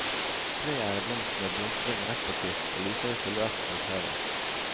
Treet er i blomst med blomstring rett på kvist, og lyser i silhuett mot havet.